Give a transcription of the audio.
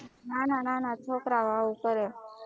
ના ના છોકરાઓ આવું કરે